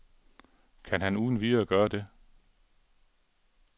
Kan han uden videre gøre det?